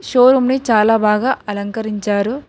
చో రూమ్ ని చాలా బాగా అలంకరించారు.